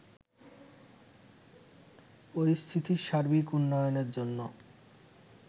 পরিস্থিতির সার্বিক উন্নয়নের জন্য